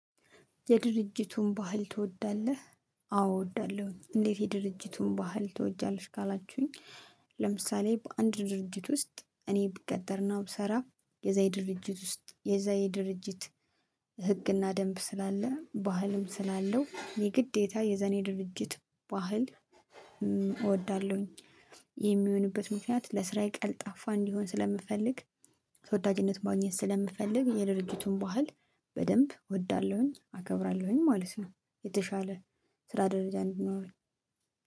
የድርጅቱን ባህል ትወዳለህ? አዎ እወዳለሁኝ። እንዴት የድርጅቱን ባህል ትወዳለሽ? ካላችሁኝ ለምሳሌ በአንድ ድርጅት ውስጥ እኔ ብቀጠርና ብስራ የዛ የድርጅት ውስጥ የዛ ድርጅት ህግና ደንብ ስላለ ባህልም ስላለው የግዴታ የዛን ድርጅት ባህል እወዳለሁኝ። የሚሆንበት ምክንያት ለስራዬ ቀልጣፋ እንዲሆን ስለምፈልግ ተወዳጅነት ማግኘት ስለምፈልግ የድርጅቱን ባህል በደንብ እወዳለሁኝ አከብራለሁኝ ማለት ነው። የተሻለ ስራ ደረጃ እንድኖር